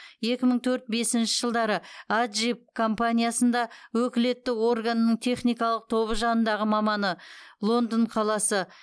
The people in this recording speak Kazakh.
екі мың төрт бесінші жылдары аджип компаниясында өкілетті органының техникалық тобы жанындағы маманы лондон қаласы